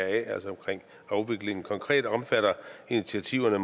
altså omkring afviklingen konkret omfatter initiativerne